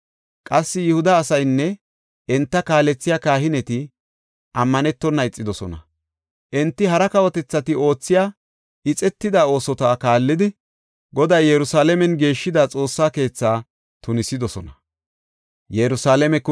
Qassi, Yihuda asaynne enta kaalethiya kahineti, ammanetona ixidosona. Enti hara kawotethati oothiya ixetida oosota kaallidi, Goday Yerusalaamen geeshshida Xoossa keethaa tunisidosona.